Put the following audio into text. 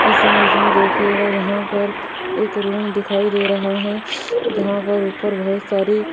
इस इमेज में देखिएगा यहां पर एक रूम दिखाई दे रहा है जहां पर ऊपर बहुत सारी --